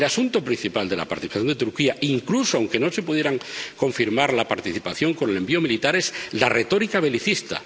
El asunto principal de la participación de Turquía, incluso aunque no se pudiera confirmar la participación con el envío militar, es la retórica belicista.